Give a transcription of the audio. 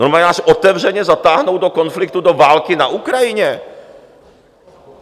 Normálně nás otevřeně zatáhnou do konfliktu, do války na Ukrajině?